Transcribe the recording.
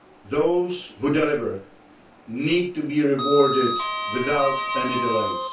Those, who deliver, need to be rewarded without any delays.